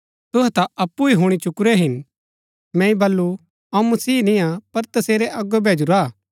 तुहै ता अप्पु ही हुणी चुकुरै हिन मैंई वलू अऊँ मसीह निंआ पर तसेरै अगो भैजूरा हा